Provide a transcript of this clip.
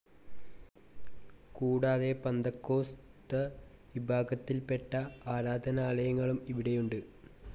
കൂടാതെ പന്തക്കോസ്തവിഭാഗത്തിൽപ്പെട്ട ആരാധനാലയങ്ങളും ഇവിടെയുണ്ട്.